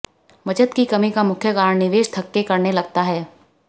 बचत की कमी का मुख्य कारण निवेश थक्के करने लगता है